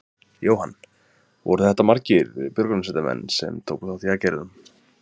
Jóhann: Voru þetta margir björgunarsveitamenn sem tóku þátt í aðgerðum?